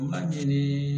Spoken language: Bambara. U ka ɲini